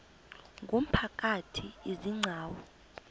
ngumphakathi izi gcawu